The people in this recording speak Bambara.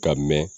Ka mɛ